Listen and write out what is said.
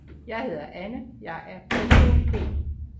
jeg hedder anne jeg er person b